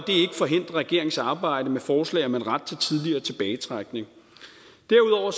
forhindrer regeringens arbejde med forslag om en ret til tidligere tilbagetrækning derudover